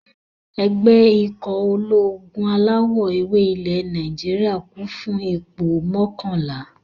Ẹgbẹ́ ikọ̀ ológun alawọ̀-ewé ilẹ̀ Nàìjíríyà, kún fún ipò mọ́kànlá